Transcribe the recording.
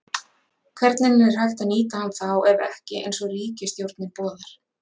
Hvernig er hægt að nýta hann þá ef ekki eins og ríkisstjórnin boðar?